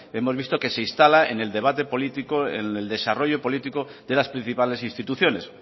hemos visto que se instala un debate político en el desarrollo político de las principales instituciones